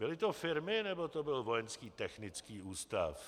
Byly to firmy, nebo to byl Vojenský technický ústav?